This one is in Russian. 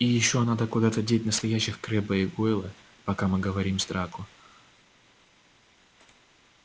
и ещё надо куда-то деть настоящих крэбба и гойла пока мы говорим с драко